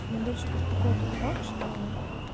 меня больше беспокоит тот факт что